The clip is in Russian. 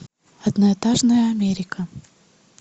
одноэтажная америка